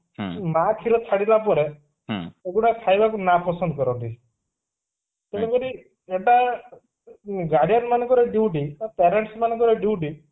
ମା କ୍ଷୀର ଛାଡିଲା ପରେ ସେଗୁଡା ଖାଇବା କୁ ନା ପସନ୍ଦ କରନ୍ତି ତେଣୁକରି ଏବା guardian ମାନଙ୍କର duty ତ parents ମାନଙ୍କର duty